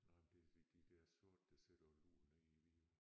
Nej men det det det de der sorte der sidder og lurer nede i Vidåen